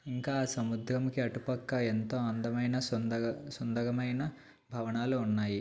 ఇంకా సముద్రానికి అటుపక్క ఎంతో అందమైన సుందగ సుందగమైన భవనాలు ఉన్నాయి.